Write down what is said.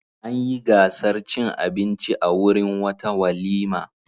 An yi gasar cin abinci a wurin wata walima.